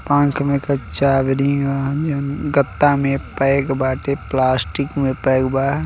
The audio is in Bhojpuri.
पंख में के चाभी रिंग ह जोन गत्ता में पैक बाटे प्लास्टिक में पैक बा।